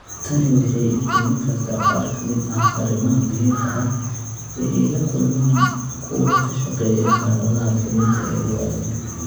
Tani waxay iftiimin kartaa qaar ka mid ah arrimaha muhiimka ah ee ay la kulmaan kuwa ka shaqeeya xaaladaha fulinta ee ugu adag.